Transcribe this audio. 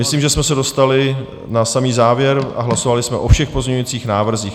Myslím, že jsme se dostali na samý závěr a hlasovali jsme o všech pozměňujících návrzích.